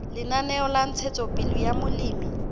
lenaneo la ntshetsopele ya molemi